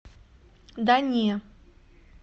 да не